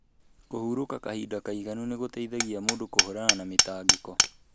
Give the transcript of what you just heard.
Kũhurúka kahinda kaĩganu nĩ gũteithagia mũndũ kũhũrana na mĩtangĩko.